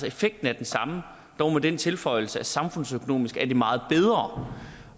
effekten er den samme dog med den tilføjelse at samfundsøkonomisk er det meget bedre